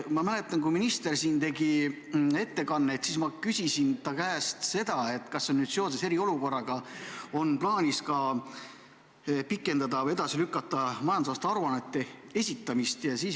Ma mäletan, kui minister siin tegi ettekannet, siis ma küsisin ta käest, kas seoses eriolukorraga on plaanis pikendada või edasi lükata majandusaasta aruannete esitamise tähtaega.